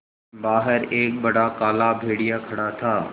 बाहर एक बड़ा काला भेड़िया खड़ा था